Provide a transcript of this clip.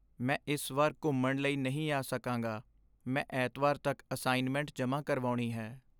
ਮੈਂ ਇਸ ਵਾਰ ਘੁੰਮਣ ਲਈ ਨਹੀਂ ਆ ਸਕਾਂਗਾ। ਮੈ ਐਤਵਾਰ ਤੱਕ ਅਸਾਈਨਮੈਂਟ ਜਮ੍ਹਾਂ ਕਰਵਾਉਣੀ ਹੈ ।